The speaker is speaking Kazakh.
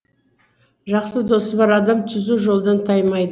жақсы досы бар адам түзу жолдан таймайды